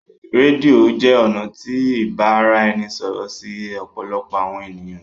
Rédíò jé ọnà tí ibaraẹnisọrọ sí òpòlopò àwọn ènìyàn.